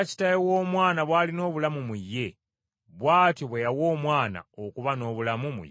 Kubanga nga Kitaawe w’Omwana bw’alina obulamu mu ye, bw’atyo bwe yawa Omwana okuba n’obulamu mu ye,